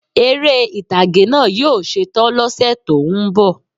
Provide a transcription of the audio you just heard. Eré ìtàgé náà yí ó setán lọ́sẹ̀ tó ń bò